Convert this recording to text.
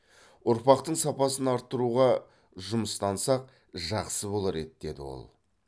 ұрпақтың сапасын арттыруға жұмыстансақ жақсы болар еді деді ол